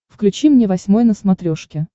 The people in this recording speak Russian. включи мне восьмой на смотрешке